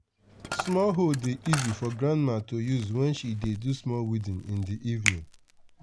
small hoe dey easy for grandma to use wen she dey do small weeding in the evening